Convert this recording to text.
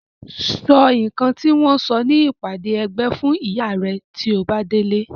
Sọ nǹkan tí wọ́n sọ ní ìpàdé ẹgbẹ́ fún ìyá rẹ tí o bá délé.